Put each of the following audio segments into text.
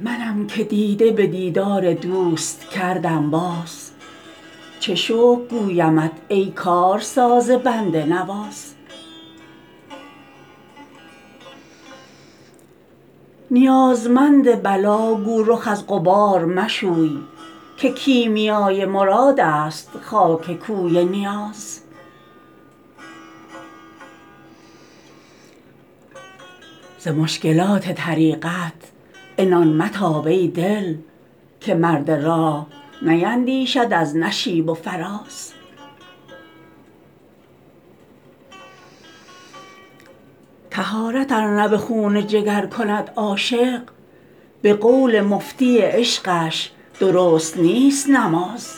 منم که دیده به دیدار دوست کردم باز چه شکر گویمت ای کارساز بنده نواز نیازمند بلا گو رخ از غبار مشوی که کیمیای مراد است خاک کوی نیاز ز مشکلات طریقت عنان متاب ای دل که مرد راه نیندیشد از نشیب و فراز طهارت ار نه به خون جگر کند عاشق به قول مفتی عشقش درست نیست نماز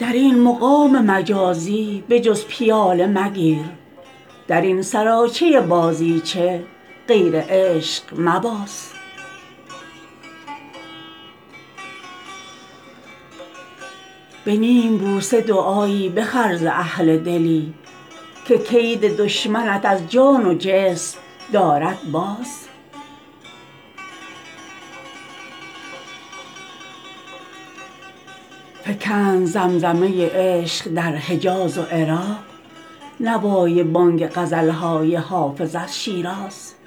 در این مقام مجازی به جز پیاله مگیر در این سراچه بازیچه غیر عشق مباز به نیم بوسه دعایی بخر ز اهل دلی که کید دشمنت از جان و جسم دارد باز فکند زمزمه عشق در حجاز و عراق نوای بانگ غزل های حافظ از شیراز